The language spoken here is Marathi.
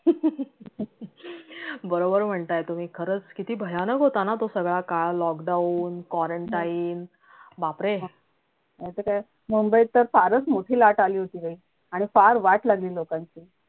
बरोबर म्हणताय तुम्ही किती खरंच भयानक होता ना तो सगळा काळ lockdown quarantine बापरे!